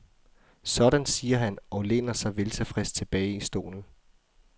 Sådan siger han og læner sig veltilfreds tilbage i stolen.